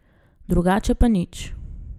Drugače pa nič.